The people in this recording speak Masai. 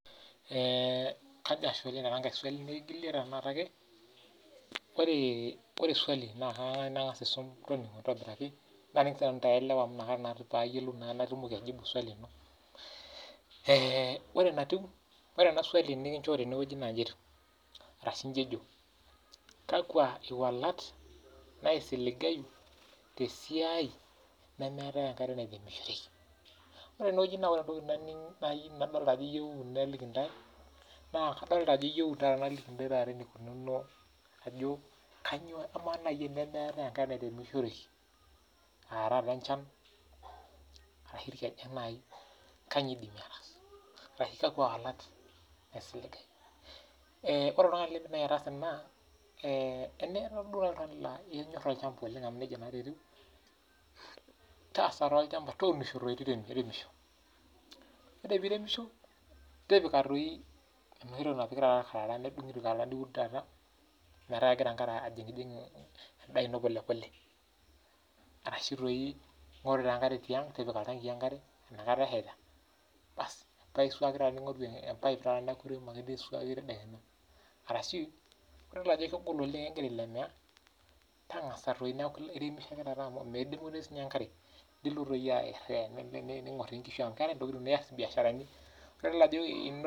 Ee kajo ashe oleng tenankai swali nikingili naning naa sinanu patumoki ailewa natum aijibu swali ino ee ore enatiu ore enaswalu nikinchoo tenewueji na nji etiu kakwa walat naisiligayu tesiai nemeetae esiai naisiligayu ore entoki nadolita niyieu naliki ntae na kadolita iyieu naliki ntae ajo amaa nai tenemeetae enkare naremishoreki ashu enchan kanyio iremishoreki kanyio wolat isiligae tenura duo nai oltungani la inyor olchamba amu nejia na etiu taasa tuunisho toi teremisho neas enoshi toki na kedungi irkarara negira enkare ajingjing polepole arashu ingoru iltangii nipik enkare basi nisuaki ningoru empaip nisuaki kake ore pidol ajo ekingira ailemea ningor inkushu amu keetae mbiasharani ore pidol ajo inoto.